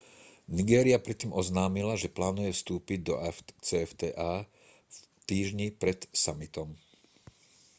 nigéria predtým oznámila že plánuje vstúpiť do afcfta v týždni pred summitom